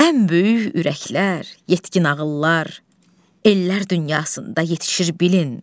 Ən böyük ürəklər, yetkin ağıllar ellər dünyasında yetişir bilin.